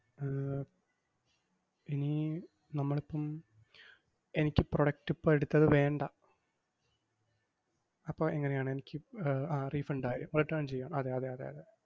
ഏർ ഇനി നമ്മളിപ്പം എനിക്ക് product ഇപ്പം എടുത്തത് വേണ്ട, അപ്പം എങ്ങനെയാണ് എനിക്ക് ഏർ അഹ് refund ആയോ return ചെയ്യോ? അതെയതെ അതെ.